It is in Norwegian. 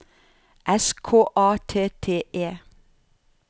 S K A T T E